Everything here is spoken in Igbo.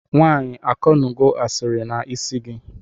Nwanyi akụnugo asiri na isi igi?